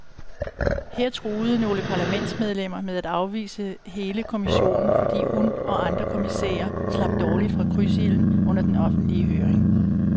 Her truede nogle parlamentsmedlemmer med at afvise hele kommissionen, fordi hun og andre kommissærer slap dårligt fra krydsilden under den offentlige høring.